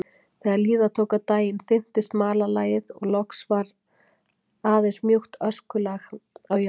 Þegar líða tók á daginn þynntist malarlagið og loks var aðeins mjúkt öskulag á jörðinni.